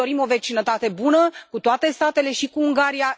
Noi ne dorim o vecinătate bună cu toate statele, și cu Ungaria.